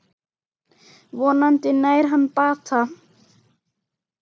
Vonandi nær hann bata.